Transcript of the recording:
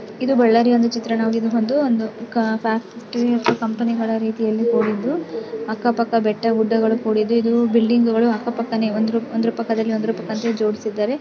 ಇದು ಬಳ್ಳಾರಿಯ ಒಂದು ಚಿತ್ರಣವಾಗಿದ್ದು ಒಂದು ಒಂದು ಫ್ಯಾಕ್ಟರಿ ಅಥವಾ ಕಂಪನಿ ಗಳ ರೀತಿಯಲ್ಲಿ ಕೂಡಿದ್ದು ಅಕ್ಕಪಕ್ಕ ಬೆಟ್ಟಗುಡ್ಡಗಳು ಕೂಡಿದ್ದು ಇದು ಬಿಲ್ಡಿಂಗ್ ಗಳು ಅಕ್ಕಪಕ್ಕಾನೇ ಒಂದ್ರ್ ಒಂದ್ರ್ ಪಕ್ಕದಲ್ಲಿ ಒಂದ್ರ್ ಪಕ್ಕ ಅಂತ ಹೇಳಿ ಜೋಡಿಸಿದ್ದಾರೆ.